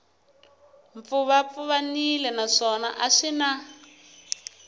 pfuvapfuvanile naswona a swi na